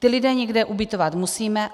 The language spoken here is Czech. Ty lidi někde ubytovat musíme.